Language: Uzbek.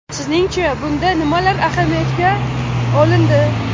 Sizning-cha, bunda nimalar ahamiyatga olindi?